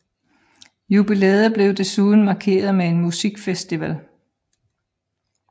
Jubilæet blev desuden markeret med en musikfestival